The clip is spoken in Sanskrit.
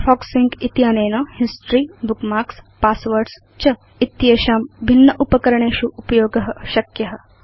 फायरफॉक्स सिंक इत्यनेन हिस्टोरी बुकमार्क्स् passwords च इति एषां भिन्न उपकरणेषु उपयोग शक्य